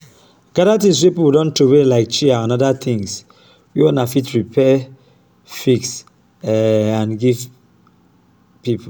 gather things wey pipo don trowey like chair and oda thing wey una fit repair fix um am give pipo